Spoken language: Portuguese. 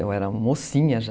Eu era mocinha já.